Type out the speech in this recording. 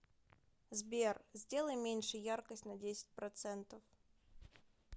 сбер сделай меньше яркость на десять процентов